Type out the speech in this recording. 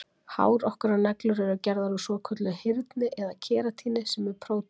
Hár okkar og neglur eru gerðar úr svokölluðu hyrni eða keratíni sem er prótín.